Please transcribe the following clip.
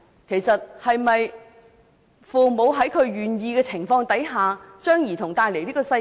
其實，父母是否在願意的情況下將兒童帶來這個世界？